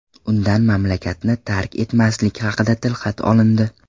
Undan mamlakatni tark etmaslik haqida tilxat olindi.